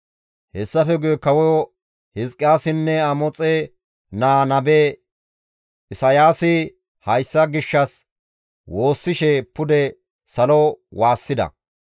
Hessafe guye Kawo Hizqiyaasinne Amoxe naa nabe Isayaasi hayssa gishshas woossishe pude salo waassida.